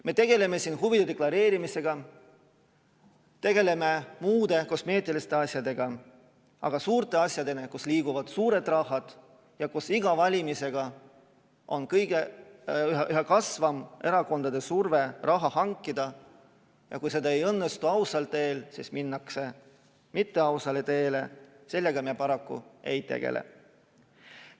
Me tegeleme siin huvide deklareerimisega, tegeleme muude kosmeetiliste asjadega, aga suurte asjadega, kus liiguvad suured rahad ja kus iga valimisega on erakondadel üha kasvav surve raha hankida ja kui see ei õnnestu ausal teel, siis minnakse mitteausale teele, sellega me paraku ei tegele.